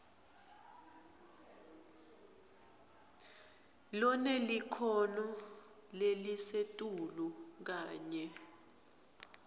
lonelikhono lelisetulu kanye